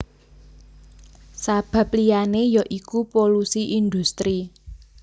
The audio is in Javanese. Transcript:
Sabab liyané ya iku polusi indhustri